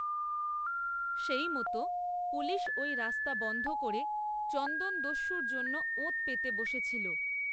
সেইমতো, পুলিশ, ওই রাস্তা বন‌্ধ করে, চন্দনদস্যুর জন্য, ওঁত, পেতে বসেছিল